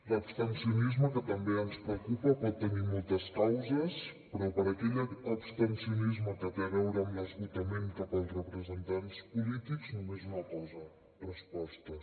l’abstencionisme que també ens preocupa pot tenir moltes causes però per aquell abstencionisme que té a veure amb l’esgotament cap als representants polítics només una cosa respostes